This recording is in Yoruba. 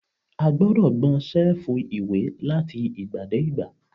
A gbọ́dọ̀ gbọn ṣẹ́ẹ̀fù ìwé láti ìgbà dé ìgbà.